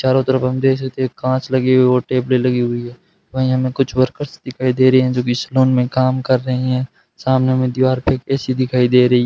चारों तरफ हम देख सकते हैं कांच लगी हुई और टेबलें लगी हुई है वहीं हमें कुछ वर्कर्स दिखाई दे रहे हैं जो कि सैलून में काम कर रहे हैं सामने हमें दीवार पे एक ए_सी दिखाई दे रही --